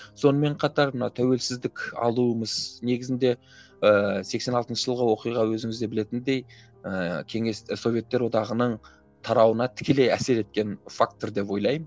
сонымен қатар мына тәуелсіздік алуымыз негізінде ыыы сексен алтыншы жылғы оқиға өзіңіз де білетіндей ыыы кеңес советтер одағының тарауына тікелей әсер еткен фактор деп ойлаймын